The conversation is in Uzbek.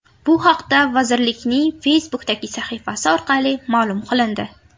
Bu haqda vazirlikning Facebook’dagi sahifasi orqali ma’lum qilindi .